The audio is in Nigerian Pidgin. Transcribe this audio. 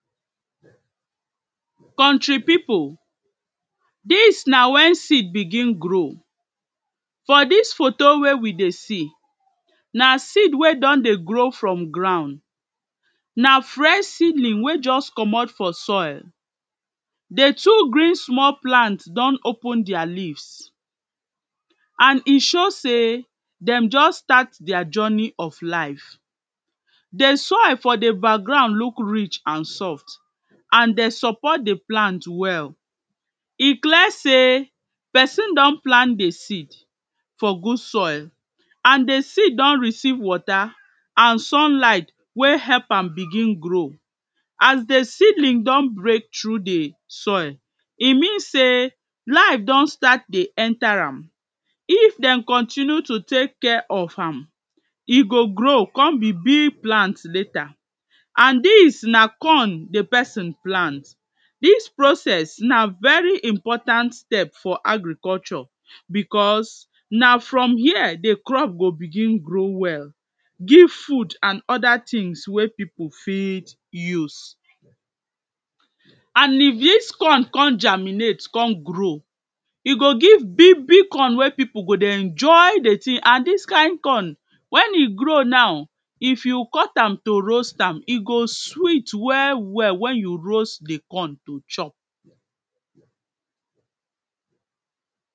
country pipu, dis na wen seed begin grow. for dis foto were we de see, na seed wer don de grow from ground. na fresh sidling wer just comot for soil. di two green small plant don open their leaf and e show sey dem just start dia journey of life. di soil for de background look rich and soft and dey support de plant well. e clear sey person don plant di seed for good soil and di seed don receive water and sunlight wer help am begin grow. as di sidling don break through di soil, e mean sey life don start de enter am. if dem continue to take care of am, e go grow come be big plant later. and dis na corn di person plant. dis process na very important step for agriculture because na from here di crop go begin grow well, give food and other things wer pipu fit use. and if dis corn come germinate come grow, e go give big big corn wer pipu go de enjoy de thing and dis kind corn when e grow now, if you cut am to roast am, e go sweet well well when you roast di corn to chop.